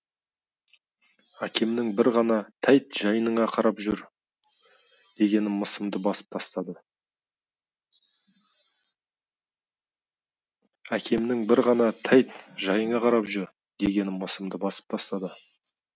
әкемнің бір ғана тәйт жайыңа қарап жүр дегені мысымды басып тастады